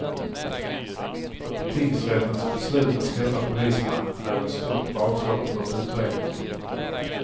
Tingsrättens beslut att släppa polismannen är ett stort bakslag för utredningen.